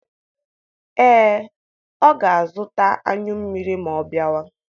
Ee, ọ ga-azụta anyụ mmiri ma ọ bịawa.